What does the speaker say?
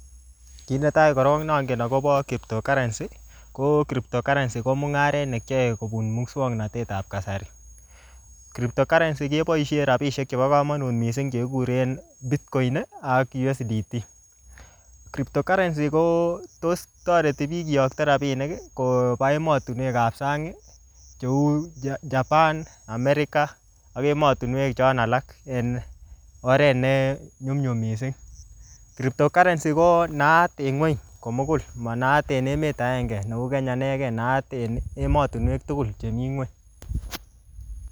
Ki netai korok ne angen akobo cryptocurrency, ko cryptocurrency ko mung'aret ne kiyae kobun muswoknotetab kasari. Cryptocurrency keboisie rabisiek chebo komonut missing che kikuren bitcoin ak USDT. Cryptocurrency ko tos toreti biik kiyokto rabinik koba emotunwekap sang, cheu Japan, America ak emotunwek chon alak en oret ne nyumnyum missing. Cryptocurrency ko naat eng ng'uny komugul. Manaat en emet agenge kou Kenya inege, naat en emotunwek tugul chemii ng'uny.